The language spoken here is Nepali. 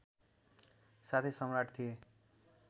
साथै सम्राट थिए